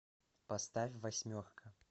поставь восьмерка